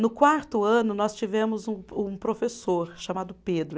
No quarto ano, nós tivemos um um professor chamado Pedro.